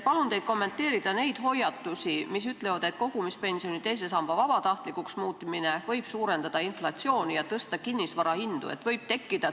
Palun kommenteerige neid hoiatusi, mis ütlevad, et kogumispensioni teise samba vabatahtlikuks muutmine võib suurendada inflatsiooni ja tõsta kinnisvara hindu.